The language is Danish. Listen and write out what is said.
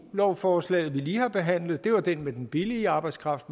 lovforslaget vi lige har behandlet det var det med den billige arbejdskraft